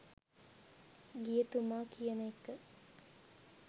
ගිය තුමා කියන එක.